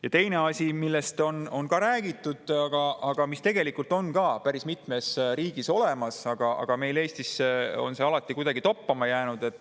Ja teine asi, millest on räägitud ja mis tegelikult on ka päris mitmes riigis olemas, aga mis meil Eestis on alati kuidagi toppama jäänud.